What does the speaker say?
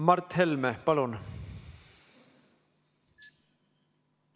Mart Helme, palun!